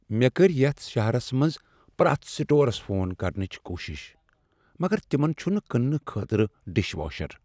مےٚ کٔرۍ یتھ شہرس منٛز پرٛیتھ سٹورس فون کرنٕچ کوشش، مگر تِمن چھِنہٕ کٕننہٕ خٲطرٕ ڈِش واشر۔